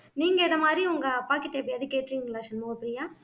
நீங்க இந்த மாதிரி உங்க அப்பாகிட்ட எப்பயாவது கேட்ருக்கீங்களா சண்முகப்ரியா